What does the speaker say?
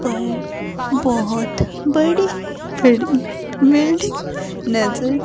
पर बहुत बड़ी बड़ी बिल्डिंग नजर--